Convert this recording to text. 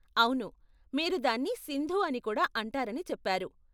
అవును, మీరు దాన్ని సింధు అని కూడా అంటారని చెప్పారు.